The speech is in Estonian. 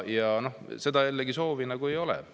Aga seda soovi ei ole.